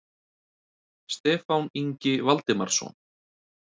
Stefán Ingi Valdimarsson.